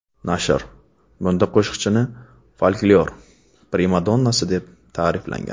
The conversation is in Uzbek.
Nashr bunda qo‘shiqchini folklor primadonnasi, deb ta’riflagan.